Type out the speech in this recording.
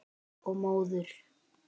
Og móður.